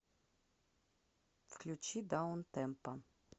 включи даунтемпо